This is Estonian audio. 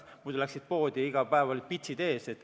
Muidu läksid poodi, ja iga päev olid pitsid ees.